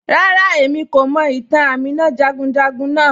Ràrà, ẹ̀mí kò mọ̀ ìtàn Àmínà jàgùnjàgùn naa